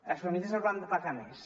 les famílies hauran de pagar més